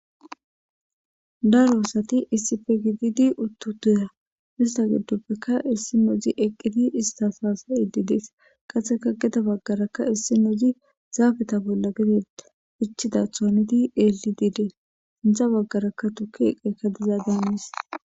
daro asati issife gididi uttu duya mista geddoppekka issi nozi eqqiti istas haasa ididees qatseka geda baggaraka issi nozi zaafeta bolla gedetta hichida thoaniti eli diidee intha baggaraka tuki eqekadiza daanis